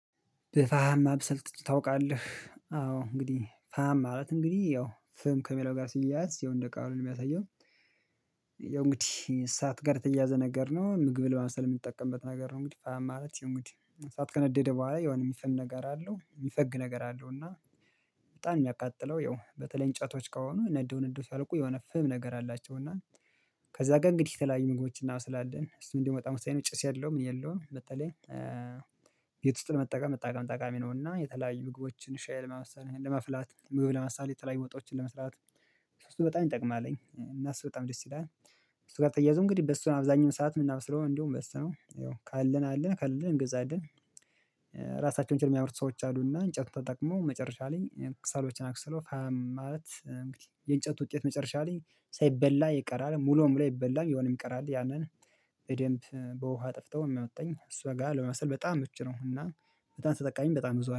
በፋህም ማብሰል ታውቃለህ? አዎ እንግዲህ ፋህማ ማለት እንግዲህ ያው ፍም ከሚለው ጋር ሲያያዝ ያው እንድ ቃሉ ነው የሚያሳየው። ያው እንግዲህ እሳት ጋር ተያያዘ ነገር ነው። ምግብ ለማብሰል የምንጠቀምበት ነገር ነው እንግዲህ ፋሃም ማለት እንግዲህ ሰዓት ከነደደ በኋላ የሆነ የሚፈን ነገር አለው የሚፈግ ነገር አለው። እና በጣም ነው የሚያቃጥለው ያው በተለይ እንጨቶች ከሆኑ ነደው ነደው ሲያልቁ የሆነ ፍም ነገር አላቸው። እና ከዛ ጋር እንግዲህ የተለያዩ ምግቦች እና እናበስላለን እሱን እንዲመጣ ወሳኝ ነው ጭስ የለውም ምን የለው በተለይ ቤት ውስጥ ለመጠቀም በጣም ጠቃሚ ነውና የተለያዩ ምግቦችን ሻይ ለማብሰል ወይም ለማፍላት ምግብ ለማብሰል የተለያይ ወጦችን ለመስራት ስቶቭ በጣም ይጠቅማልኝ እና እሱ በጣም ደስ ይላል እሱ ጋር ተያያዙ እንግዲህ በሱ አብዛኛው ሰዓት የምናበስለው እንዲውም በሱነው ያው ካለን አለን ከሌለን እንገዛለን ከሰል የሚያመርቱ ሰዎች አሉና እንጨቱን ተጠቅመው መጨረሻ ላይ እኔ ክሰሎችን አክስለው ማለት እንግዲህ የእንጨት ውጤት መጨረሻ ላይ ሳይበላ ይቀራል ሙሉ ሙሉ አይበላም የሆነም የሚቀር አለ ያንን በደንብ በውሃ አጥፍተው አውጥተው እሷ ጋር ለመስራት በጣም ምቹ ነው እና በጣም ተጠቃሚም በጣም ብዙ